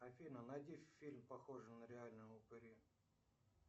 афина найди фильм похожий на реальные упыри